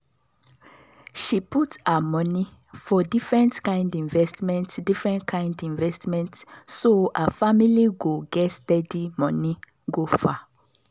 she put her money for different kind investment different kind investment so her family go get steady money go far